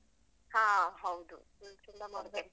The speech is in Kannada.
ಹಾ ಹೌದು. ಮೊನ್ನೆ ಚಂಡಮಾರುತ ಇತ್ತಲ್ಲ.